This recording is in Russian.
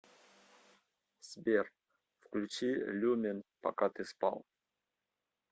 сбер включи люмен пока ты спал